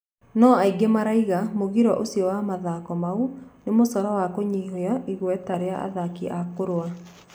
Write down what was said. No angĩ maraiga mũgiro ucio wa mathako mau nĩ mũcoro wa kũnyihia igweta ria athaki a kũrũa